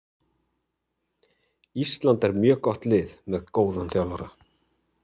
Ísland er mjög gott lið með mjög góðan þjálfara.